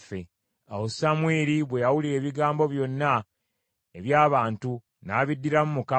Awo Samwiri bwe yawulira ebigambo byonna eby’abantu, n’abiddiramu Mukama .